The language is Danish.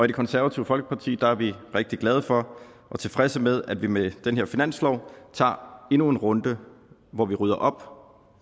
det konservative folkeparti er vi rigtig glade for og tilfredse med at vi med den her finanslov tager endnu en runde hvor vi rydder op